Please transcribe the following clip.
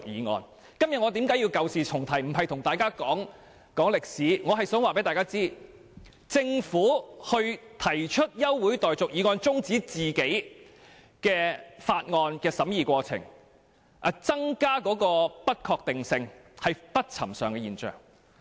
我今天舊事重提，並非要細說歷史，只是想告訴各位，由政府提出休會待續議案中止政府法案的審議過程，以致不確定性增加，實屬不尋常的現象。